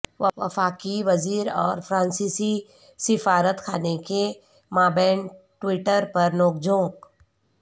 وفاقی وزیر اور فرانسیسی سفارت خانے کے مابین ٹویٹر پر نوک جھوک